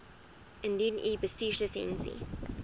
indien u bestuurslisensie